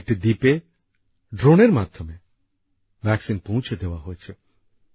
সেখানে একটি দ্বীপে ড্রোনের মাধ্যমে টিকা পৌঁছে দেওয়া হয়েছে